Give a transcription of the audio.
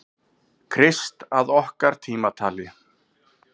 Krist að okkar tímatali.